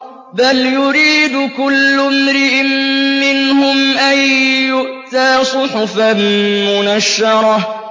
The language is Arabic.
بَلْ يُرِيدُ كُلُّ امْرِئٍ مِّنْهُمْ أَن يُؤْتَىٰ صُحُفًا مُّنَشَّرَةً